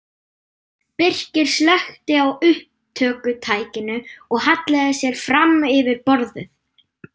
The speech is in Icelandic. Birkir slökkti á upptökutækinu og hallaði sér fram yfir borðið.